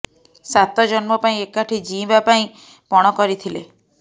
ସାତ ଜନ୍ମ ପାଇଁ ଏକାଠି ଜୀଇଁବା ପାଇଁ ପଣ କରିଥିଲେ